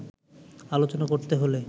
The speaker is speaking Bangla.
আলোচনা করতে হলে